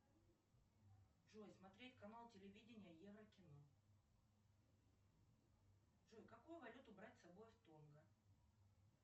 джой смотреть канал телевидения еврокино джой какую валюту брать с собой в тонго